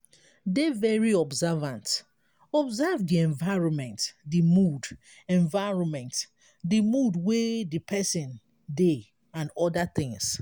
dey very observant observe di environment di mood environment di mood wey di person dey and oda things